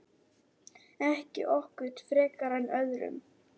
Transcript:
Ekki okkur frekar en öðrum.